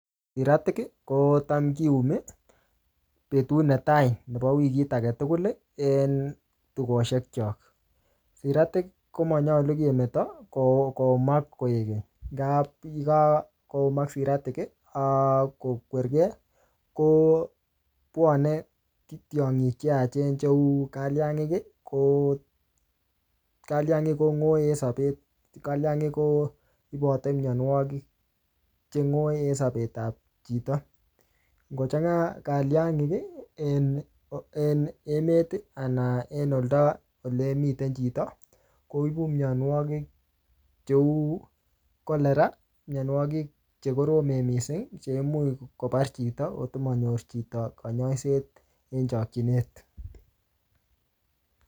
Siratik, kocham kiumi betut ne tai nebo wikit age tugul en tukoshek chok. Siratik komonyolu kemeto ko-koumak koek keny. Nga-nga koumak siratik ak kokwerkey, kobwane tiongik che yaachen cheu kaliangik. Ko kaliangik kong'oe sapet. Kaliangik koibote mianwogik chengoe sapet ap chito. Ngochang'a kaliangik en en emet, anan en olda ole miten chito, koibu mianwogik cheuu cholera, mianwogik che koromen missing, che imuch kobar chito, agot komanyor chito kanyaiset en chakchinet